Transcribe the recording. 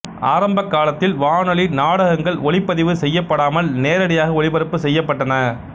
ஆரம்ப காலத்தில் வானொலி நாடகங்கள் ஒலிப்பதிவு செய்யப்படாமல் நேரடியாக ஒலிபரப்பு செய்யப்பட்டன